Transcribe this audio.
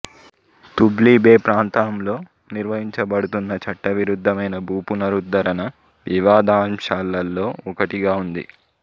Tubli Bay ప్రాంతంలో నిర్వహించబడుతున్న చట్టవిరుద్ధమైన భూపునరుద్ధరణ వివాదాంశాలలో ఒకటిగా ఉంది